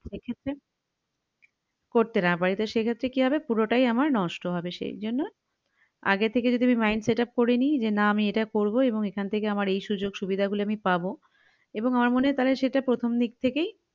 সেক্ষেত্রে করতে না পারি তো সেক্ষেত্রে কি হবে পুরোটাই আমার নষ্ট হবে সেইজন্য আগে থেকে যদি আমি mind setup করে নি যে না আমি এইটা করবো এবং এখান থেকে আমার এই সুযোগ সুবিধা গুলো আমি পাবো এবং আমার মনে হয় তালে সেটা প্রথম দিক থেকেই